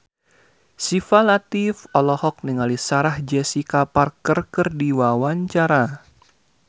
Syifa Latief olohok ningali Sarah Jessica Parker keur diwawancara